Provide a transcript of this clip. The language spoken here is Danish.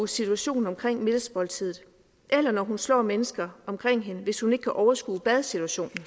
situationen omkring middagsmåltidet eller ved at slå mennesker omkring sig hvis hun ikke kan overskue badsituationen